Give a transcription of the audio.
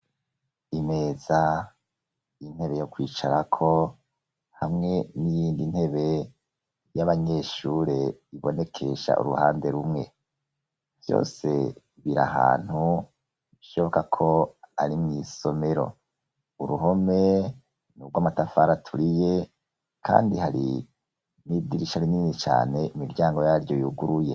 Imeza, intebe yo kwicarako hamwe n'iyindi ntebe y'abanyeshure ibonekesha uruhande rumwe byose biri ahantu shoboka ko ari mw'isomero uruhome n'urw'amatafari aturiye kandi hari nidirisha rinini cane imiryango yaryo yuguruye.